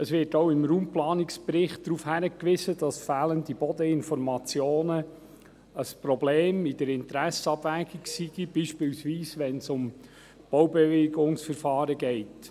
Es wird auch im Raumplanungsbericht darauf hingewiesen, dass fehlende Bodeninformationen ein Problem in der Interessenabwägung seien, beispielweise wenn es um Baubewilligungsverfahren geht.